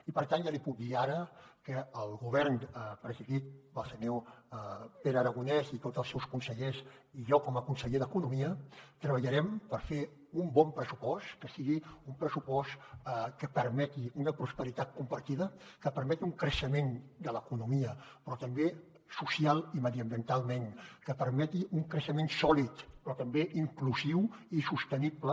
i per tant ja li puc dir ara que el govern presidit pel senyor pere aragonès i tots els seus consellers i jo com a conseller d’economia treballarem per fer un bon pressupost que sigui un pressupost que permeti una prosperitat compartida que permeti un creixement de l’economia però també socialment i mediambientalment que permeti un creixement sòlid però també inclusiu i sostenible